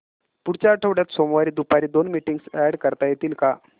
पुढच्या आठवड्यात सोमवारी दुपारी दोन मीटिंग्स अॅड करता येतील का